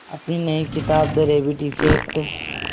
अपनी नई किताब द रैबिट इफ़ेक्ट